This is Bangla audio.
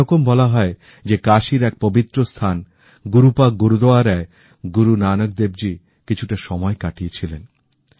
এরকম বলা হয় যে কাশির এক পবিত্র স্থান গুরুপাক গুরুদুয়ারায় গুরু নানক দেবজী কিছুটাসময়কাটিয়েছিলেন